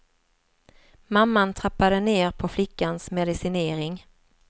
Mamman trappade ner på flickans medicinering.